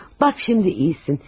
Bax, indi yaxşısan.